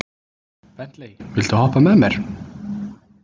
Bentley, viltu hoppa með mér?